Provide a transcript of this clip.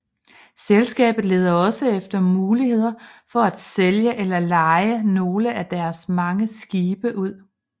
Selskabet leder også efter muligheder for at sælge eller leje nogle af deres mange skibe ud